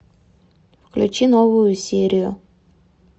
включи новую серию